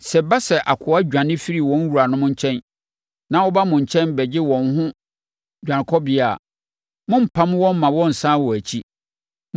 Sɛ ɛba sɛ nkoa dwane firi wɔn wuranom nkyɛn na wɔba mo nkyɛn bɛgye wɔn ho dwanekɔbea a, mommpam wɔn mma wɔnnsane wɔn akyi.